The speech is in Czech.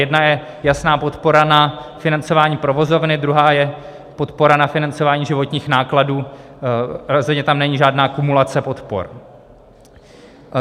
Jedna je jasná podpora na financování provozovny, druhá je podpora na financování životních nákladů, rozhodně tam není žádná kumulace podpor.